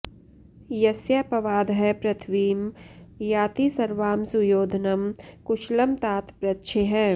यस्यापवादः पृथिवीं याति सर्वां सुयोधनं कुशलं तात पृच्छेः